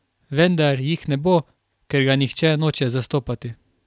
Vendar jih ne bo, ker ga nihče noče zastopati.